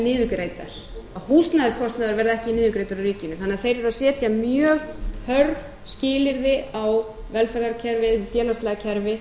niðurgreiddar að húsnæðiskostnaður verði ekki niðurgreiddur af ríkinu þannig að þeir eru að setja mjög hörð skilyrði á velferðarkerfið félagslega kerfið